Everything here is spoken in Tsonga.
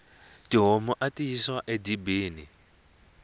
tihomu ati yisiwa e dibini